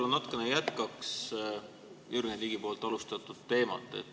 Ma natukene jätkan Jürgen Ligi alustatud teemat.